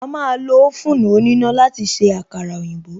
A máa lo oven òníná láti se àkàrà òyìnbó